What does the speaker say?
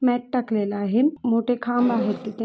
मेट टाकलेला आहे मोठे खांब आहेत तिथे--